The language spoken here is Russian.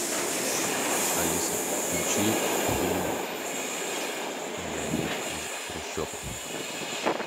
алиса включи фильм миллионер из трущоб